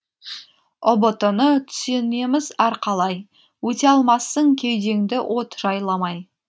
ұбт ны түсінеміз әр қалай өте алмассың кеудеңді от жайламай